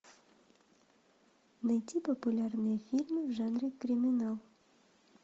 найти популярные фильмы в жанре криминал